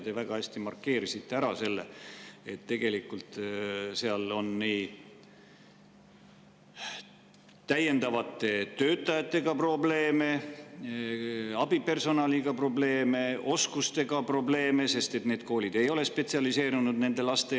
Te väga hästi markeerisite, et tegelikult on seal probleeme täiendavate töötajate ja abipersonali, oskuste, sest need koolid ei ole spetsialiseerunud nendele lastele.